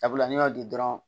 Sabula n'i y'o di dɔrɔn